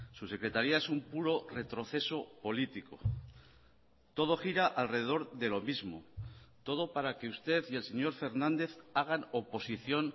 su secretaría es un puro retroceso político todo gira alrededor de lo mismo todo para que usted y el señor fernández hagan oposición